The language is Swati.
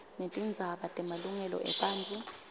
netindzaba temalungelo ebantfu